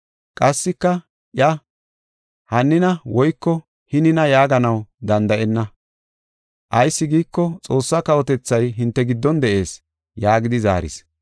Qassika iya, ‘Hannina woyko hinina yaaganaw danda7enna. Ayis giiko, Xoossa kawotethay hinte giddon de7ees’ ” yaagidi zaaris.